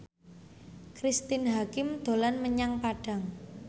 Cristine Hakim dolan menyang Padang